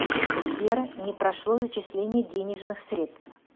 сбер не прошло зачисление денежных средств